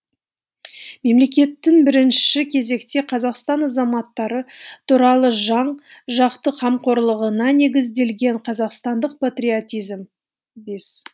мемлекеттің бірінші кезекте қазақстан азаматтары туралы жан жақты қамқорлығына негізделген қазақстандық патриотизм бес